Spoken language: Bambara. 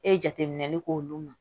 E ye jateminɛli k'olu ma